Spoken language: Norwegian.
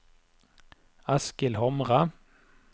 Eskil Hamre